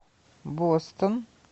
бостон